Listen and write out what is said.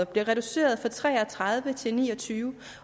bliver reduceret fra tre og tredive til ni og tyve